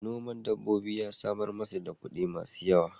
Noman dabbobi ya samar masa da kuɗi masu yawa.